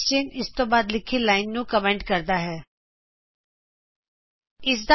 ਚਿਨਹ ਇਸਤੋਂ ਬਾਦ ਲਿਖੀ ਲਾਇਨ ਨੂੰ ਕਮੈਂਟ ਕਰਦਾ ਹੈਂ